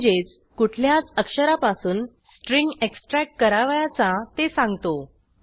म्हणजेच कुठल्याच अक्षरापासून स्ट्रिंग एक्स्ट्रॅक्ट करावयाचा ते सांगतो